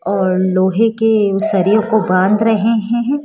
और लोहे के वो शरीर को बांध रहे हैं हैं।